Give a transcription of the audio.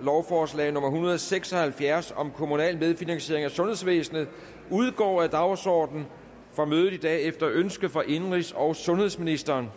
lovforslag nummer hundrede og seks og halvfjerds om kommunal medfinansiering af sundhedsvæsenet udgår af dagsordenen for mødet i dag efter ønske fra indenrigs og sundhedsministeren